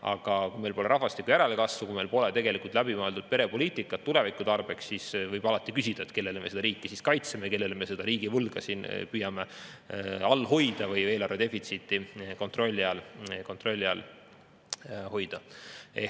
Aga kui meil pole rahvastiku järelkasvu, kui meil pole tegelikult läbimõeldud perepoliitikat tuleviku tarbeks, siis võib alati küsida, kelle nimel me seda riiki siis kaitseme, kelle jaoks me seda riigivõlga püüame all hoida või eelarvedefitsiiti kontrolli all hoida.